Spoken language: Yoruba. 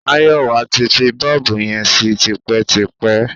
Máyọ̀wá ti fi bọ́ọ̀bù yẹn sí tipẹ́tipẹ́.